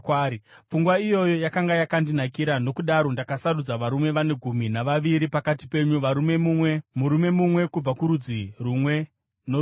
Pfungwa iyoyo yakanga yakandinakira; nokudaro ndakasarudza varume vane gumi navaviri pakati penyu, murume mumwe kubva kurudzi rumwe norumwe.